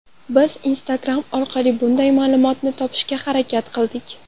Biz Instagram orqali bunday ma’lumotni topishga harakat qildik.